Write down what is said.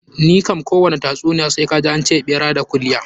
Ni kam kowani tatsuniya sai kaji an ce ɓera da kulya.